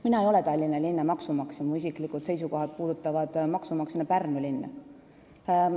Mina ei ole Tallinna linna maksumaksja, mu isiklikud seisukohad maksumaksjana puudutavad Pärnu linna.